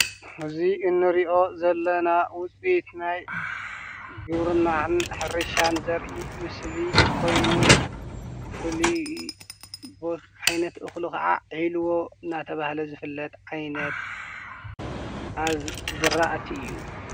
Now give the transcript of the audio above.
እዚ እንሪኦ ዘለና ዉፅኢት ናይ ግብርናን ሕርሻን ዘርኢ ምስሊ ኾይኑ ፍሉይ ቦታ ዓይነት እኽሉ ኽዓ ዒልቦ እናተብሃለ ዝፍለጥ ዓይነት አዝ ዝራእቲ እዩ።